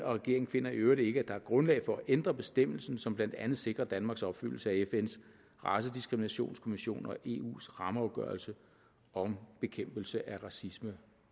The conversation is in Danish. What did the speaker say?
regeringen finder i øvrigt ikke er grundlag for at ændre bestemmelsen som blandt andet sikrer danmarks opfyldelse af fns racediskriminationskonvention og eu’s rammeafgørelse om bekæmpelse af racisme